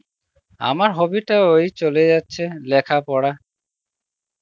আমার hobby তো ওই চলে যাচ্ছে, লেখা পরা